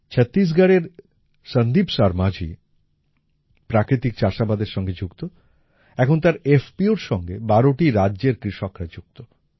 ছত্তিশগড়ের সন্দীপ শর্মাজি প্রাকৃতিক চাষাবাদের সঙ্গে যুক্ত এখন তার FPOর সঙ্গে বারোটি রাজ্যের কৃষকরা যুক্ত